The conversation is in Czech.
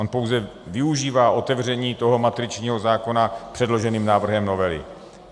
On pouze využívá otevření toho matričního zákona předloženým návrhem novely.